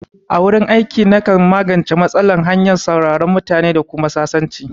A wurin aiki, na kan magance matsala ta hanyar sauraron mutane da kuma yin sasanci